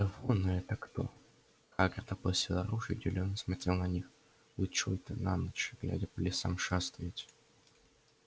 эвона это кто хагрид опустил оружие и удивлённо посмотрел на них вы чой-то на ночь глядя по лесам шастаете